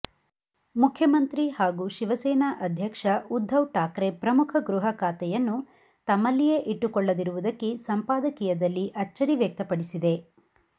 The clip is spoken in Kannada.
ಮುಖ್ಯಮಂತ್ರಿ ಹಾಗೂ ಶಿವಸೇನಾ ಅಧ್ಯಕ್ಷ ಉದ್ಧವ್ ಠಾಕ್ರೆ ಪ್ರಮುಖ ಗೃಹ ಖಾತೆಯನ್ನು ತಮ್ಮಲ್ಲಿಯೇ ಇಟ್ಟುಕೊಳ್ಳದಿರುವುದಕ್ಕೆ ಸಂಪಾದಕೀಯದಲ್ಲಿ ಅಚ್ಚರಿ ವ್ಯಕ್ತಪಡಿಸಿದೆ